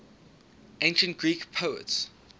ancient greek poets